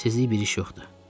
Gizli bir iş yoxdur.